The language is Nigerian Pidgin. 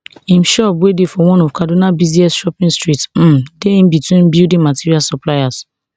im shop wey dey for one of kaduna busiest shopping streets um dey in between building material suppliers